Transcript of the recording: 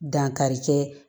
Dankarikɛ